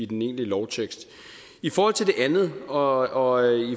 den egentlige lovtekst i forhold til det andet og